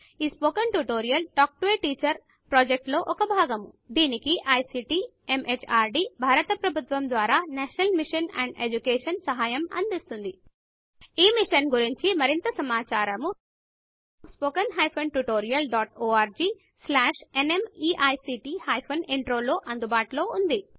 ఈ spoken tutorial talk to a teacher project లో భాగము దీనికి ఐసీటీ ఎంహార్డీ భారత ప్రభుత్వము ద్వారా నేషనల్ మిషన్ అండ్ ఎడ్యుకేషన్ సహాయం అందిస్తోంది ఈ మిషన్ గురించి మరింత సమాచారము spoken hyphen tutorial dot org slash NMEICT hyphen intro లో అందుబాటులో ఉన్నది